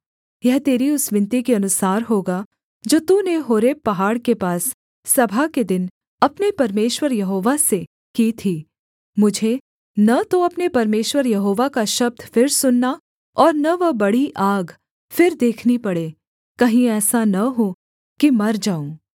यह तेरी उस विनती के अनुसार होगा जो तूने होरेब पहाड़ के पास सभा के दिन अपने परमेश्वर यहोवा से की थी मुझे न तो अपने परमेश्वर यहोवा का शब्द फिर सुनना और न वह बड़ी आग फिर देखनी पड़े कहीं ऐसा न हो कि मर जाऊँ